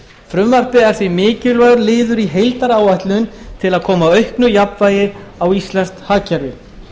frumvarpið er því mikilvægur liður í heildaráætlun til að koma auknu jafnvægi á íslenskt hagkerfi